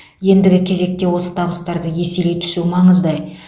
ендігі кезекте осы табыстарды еселей түсу маңызды